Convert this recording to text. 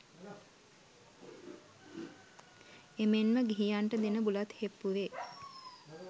එමෙන් ම ගිහියන්ට දෙන බුලත් හෙප්පුවේ